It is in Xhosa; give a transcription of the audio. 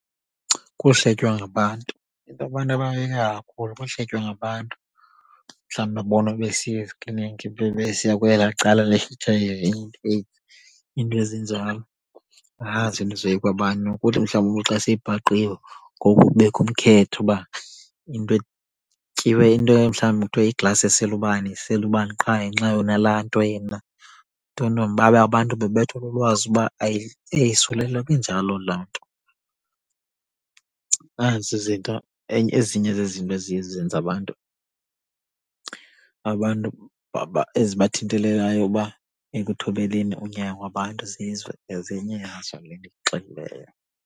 Kuhletywa ngabantu. Into abantu abayoyika kakhulu kuhletywa ngabantu mhlawumbi babonwe besiya ezikliniki bebesiya kwelaa cala le-H_I_V, iinto ezinjalo. Nazo izinto ezoyikwa babantu kuthi mhlawumbi umntu xa sebhaqiwe ngoku kubekho ukhetho uba into etyiwe, into emhlawumbi kuthiwe iiglasi esele ubani esele ubani qha ngenxa yoba unalaa nto yena, ntontoni. Babe abantu bebethwa lulwazi uba ayisilulwa kanjalo laa nto. Nazi izinto ezinye zezinto eziye zenze abantu abantu eziba thintelelayo uba ekuthobeleni unyango abantu zizo ezinye .